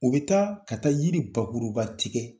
U be taa ka taa yiri bakuruba tigɛ